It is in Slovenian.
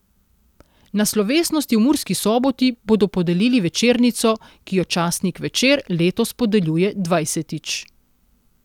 Na slovesnosti v Murski Soboti bodo podelili večernico, ki jo časnik Večer letos podeljuje dvajsetič.